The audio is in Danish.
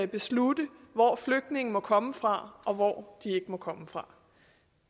beslutte hvor flygtninge må komme fra og hvor ikke må komme fra